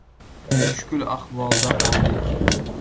Mushkul ahvolda qoldik.